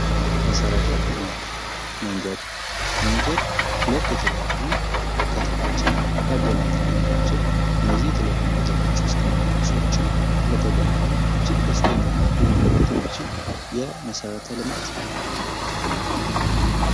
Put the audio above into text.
መሰረተ ልማት። መንገድ ሁለት የተለያዩ ከተሞችን ሊያገናኝልን የሚችል እነዚህ የተለያዩ ከተሞች ውስጥ የሚኖሩ ሰዎችም ስለተገናኙ እጅግ ደስተኛ ሊሆኑበት የሚችል የመሰረተ ልማት ክፍል ነው።